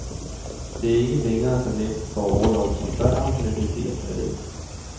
Det er ikke længere så nemt at få orlov som før, men det sker stadig.